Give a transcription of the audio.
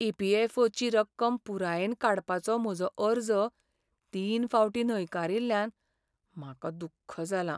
E. P. F. O. ची रक्कम पुरायेन काडपाचो म्हजो अर्ज तीन फावटीं न्हयकारील्ल्यान म्हाका दुख्ख जालां.